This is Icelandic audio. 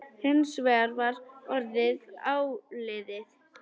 Hins vegar var orðið áliðið.